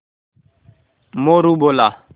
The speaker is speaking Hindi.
मोरू बोला